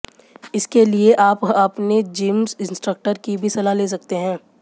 इसके लिए आप आपने जिम इन्सट्रक्टर की भी सलाह ले सकते हैं